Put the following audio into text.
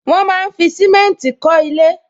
Wọn máa ń fi simenti kọ ilé